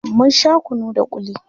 mun Sha kunu da kulli